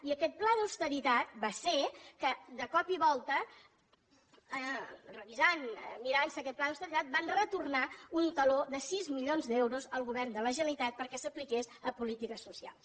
i aquest pla d’austeritat va ser que de cop i volta revisant mirant se aquest pla d’austeritat van retornar un taló de sis milions d’euros al govern de la generalitat perquè s’apliqués a polítiques socials